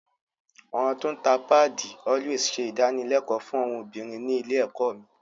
Àwọn tó ń ta páàdì “Always” ṣe ìdánilẹ́kọ̀ọ́ fún àwọn obìnrin ní ilé ẹ̀kọ́ mi